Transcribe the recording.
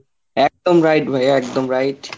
একদম right ভাই, একদম right